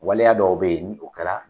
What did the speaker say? Waleya dɔw bɛ yen n'o kɛra